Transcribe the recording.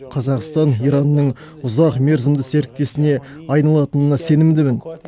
қазақстан иранның ұзақ мерзімді серіктесіне айналатынына сенімдімін